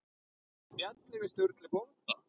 Og spjalli við Sturlu bónda.